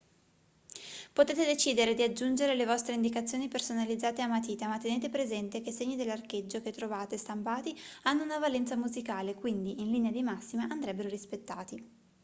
potete decidere di aggiungere le vostre indicazioni personalizzate a matita ma tenete presente che i segni dell'archeggio che trovate stampati hanno una valenza musicale quindi in linea di massima andrebbero rispettati